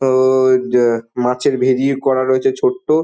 হ-অ-অ ড মাছের ভেরি করা রয়েছে ছোট্ট।